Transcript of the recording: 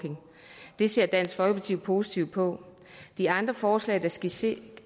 det ser dansk folkeparti positivt på de andre forslag der skitseres